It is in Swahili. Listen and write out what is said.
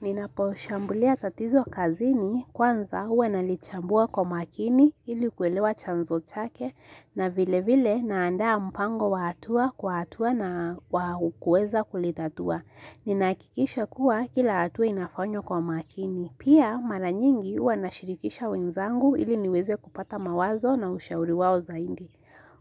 Ninapo ushambulia tatizo kazini kwanza uwe nalichambua kwa makini ilikuwelewa chanzo chake na vile vile naandaa mpango wa hatua kwa hatua na kukueza kulitatua. Ninakikisha kuwa kila atua inafanywa kwa makini. Pia maranyingi ue nashirikisha wenzangu ili niweze kupata mawazo na ushauriwao zaindi.